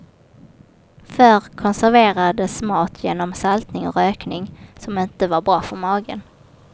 Förr konserverades mat genom saltning och rökning, som inte var bra för magen.